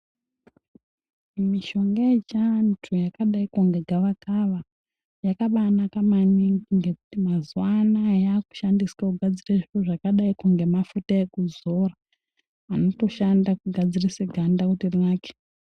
Mishonga yechiantu yakadaiko ngegavakava yakabanaka maningi ngekuti mazuwanaya yakushandiswa kugadzira zviro zvakadaiko ngemafuta ekudzora anotoshanda kugadzirise ganda kuti rinake.